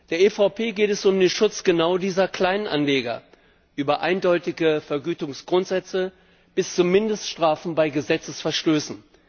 Der EVP geht es um den Schutz genau dieser Kleinanleger über eindeutige Vergütungsgrundsätze bis zu Mindeststrafen bei Gesetzesverstößen.